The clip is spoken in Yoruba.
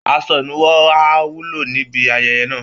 Aṣọ ìnuwọ́ á wúlò níbi ayẹyẹ náà